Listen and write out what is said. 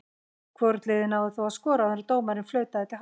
Hvorugt liðið náði þó að skora áður en dómarinn flautaði til hálfleiks.